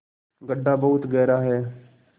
गढ्ढा बहुत गहरा है